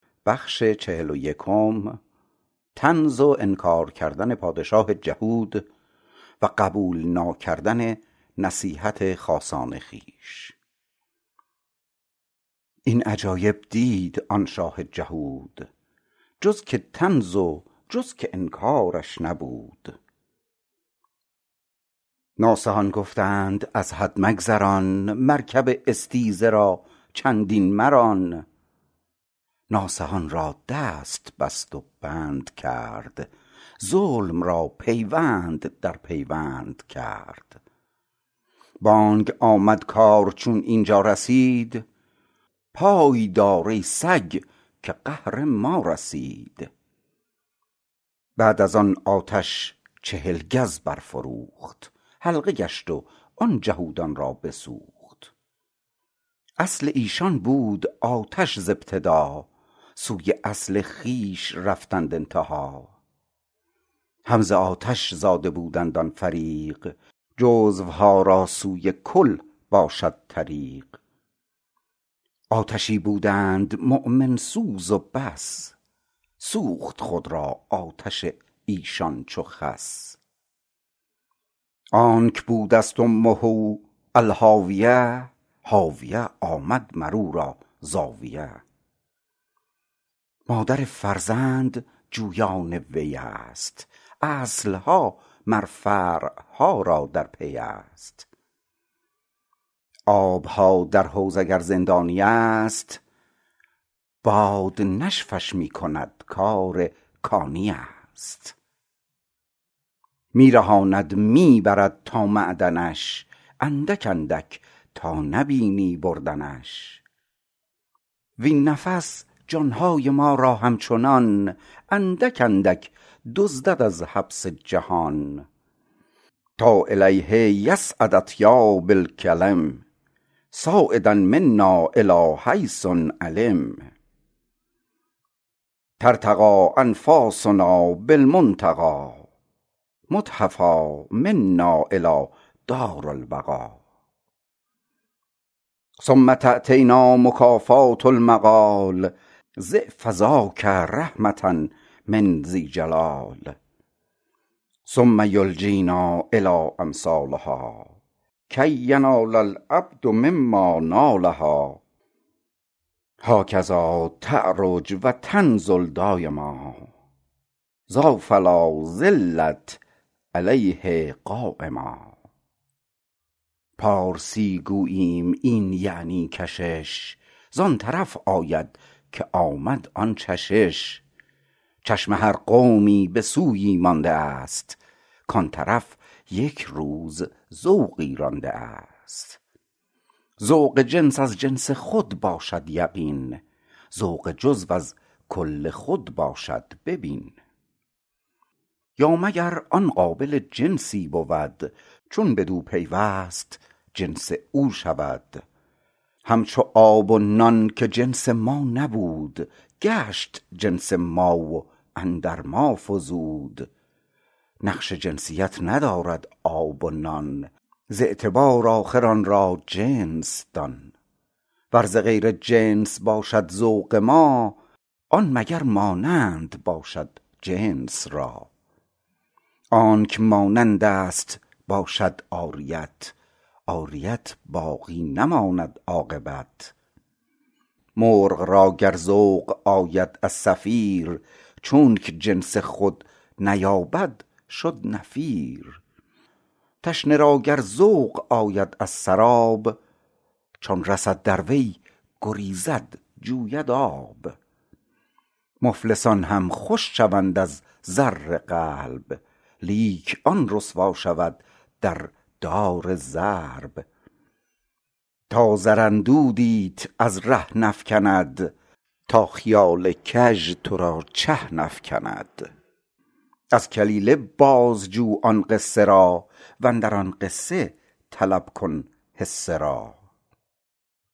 این عجایب دید آن شاه جهود جز که طنز و جز که انکارش نبود ناصحان گفتند از حد مگذران مرکب استیزه را چندین مران ناصحان را دست بست و بند کرد ظلم را پیوند در پیوند کرد بانگ آمد کار چون اینجا رسید پای دار ای سگ که قهر ما رسید بعد از آن آتش چهل گز بر فروخت حلقه گشت و آن جهودان را بسوخت اصل ایشان بود آتش ز ابتدا سوی اصل خویش رفتند انتها هم ز آتش زاده بودند آن فریق جزوها را سوی کل باشد طریق آتشی بودند مؤمن سوز و بس سوخت خود را آتش ایشان چو خس آنک بودست امه الهاویه هاویه آمد مرورا زاویه مادر فرزند جویان ویست اصلها مر فرعها را در پیست آبها در حوض اگر زندانیست باد نشفش می کند کارکانیست می رهاند می برد تا معدنش اندک اندک تا نبینی بردنش وین نفس جانهای ما را همچنان اندک اندک دزدد از حبس جهان تا الیه یصعد اطیاب الکلم صاعدا منا الی حیث علم ترتقی انفاسنا بالمنتقا محتفا منا الی دارالبقا ثم تأتینا مکافات المقال ضعف ذاک رحمة من ذی الجلال ثم یلجینا الی امثالها کی ینال العبد مما نالها هاکذا تعرج و تنزل دایما ذا فلازلت علیه قایما پارسی گوییم یعنی این کشش زان طرف آید که آمد آن چشش چشم هر قومی به سویی مانده ست کان طرف یک روز ذوقی رانده ست ذوق جنس از جنس خود باشد یقین ذوق جزو از کل خود باشد ببین یا مگر آن قابل جنسی بود چون بدو پیوست جنس او شود همچو آب و نان که جنس ما نبود گشت جنس ما و اندر ما فزود نقش جنسیت ندارد آب و نان ز اعتبار آخر آن را جنس دان ور ز غیر جنس باشد ذوق ما آن مگر مانند باشد جنس را آنک مانندست باشد عاریت عاریت باقی نماند عاقبت مرغ را گر ذوق آید از صفیر چونک جنس خود نیابد شد نفیر تشنه را گر ذوق آید از سراب چون رسد در وی گریزد جوید آب مفلسان هم خوش شوند از زر قلب لیک آن رسوا شود در دار ضرب تا زر اندودیت از ره نفکند تا خیال کژ ترا چه نفکند از کلیله باز جو آن قصه را واندر آن قصه طلب کن حصه را